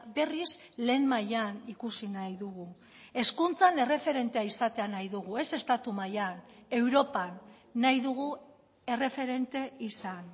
berriz lehen mailan ikusi nahi dugu hezkuntzan erreferentea izatea nahi dugu ez estatu mailan europan nahi dugu erreferente izan